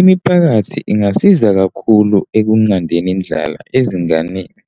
Imiphakathi ingasiza kakhulu ekunqandeni indlala ezinganeni,